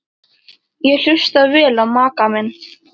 Ég hlusta vel á maka minn.